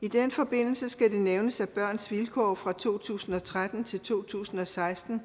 i den forbindelse skal det nævnes at børns vilkår fra to tusind og tretten til to tusind og seksten